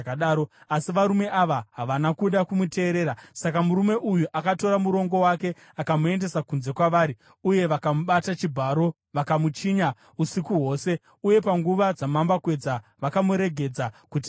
Asi varume ava havana kuda kumuteerera. Saka murume uyu akatora murongo wake akamuendesa kunze kwavari, uye vakamubata chibharo vakamuchinya usiku hwose, uye panguva dzamambakwedza vakamuregedza kuti aende.